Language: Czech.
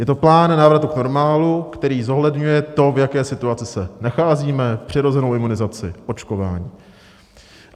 Je to plán návratu k normálu, který zohledňuje to, v jaké situaci se nacházíme, přirozenou imunizaci, očkování.